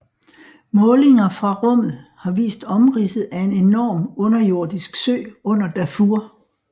Målinger fra rummet har vist omridset af en enorm underjordisk sø under Darfur